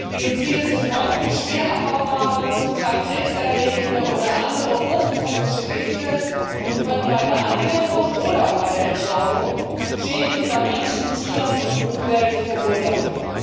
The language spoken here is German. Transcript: Biozide sind häufig schwer abbaubare, zum Teil krebserregende oder andere hochtoxische Gifte und können bei der Anwendung oder bei der Entsorgung Schäden bei Menschen, Tieren und Umwelt verursachen.